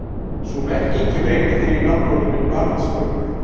Sú merking kemur einnig fyrir í nafnorðinu barnsburður.